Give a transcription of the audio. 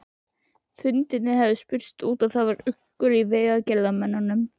Fundirnir höfðu spurst út og það var uggur í vegagerðarmönnum.